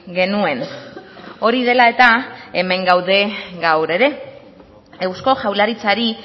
genuen hori dela eta hemen gaude gaur ere eusko jaurlaritzari